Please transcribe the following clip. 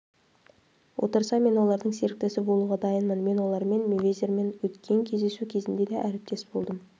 отырса мен олардың серіктесі болуға дайынмын мен олармен мейвезермен өткен кездесу кезінде де әріптес болдым